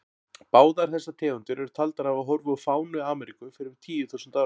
Báðar þessar tegundir eru taldar hafa horfið úr fánu Ameríku fyrir um tíu þúsund árum.